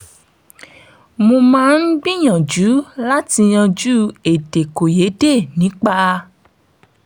mo máa ń gbìyànjú láti yanjú èdèkòyédè nípa